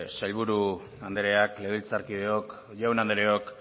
sailburu andrea legebiltzarkideok jaun andreok